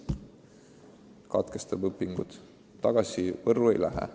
Ta katkestab õpingud, aga tagasi Võrru ei lähe.